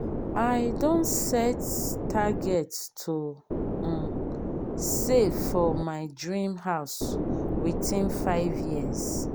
i don set target to um save for my dream house within five years.